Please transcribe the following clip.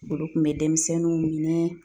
Olu kun be dɛmisɛnninw minɛ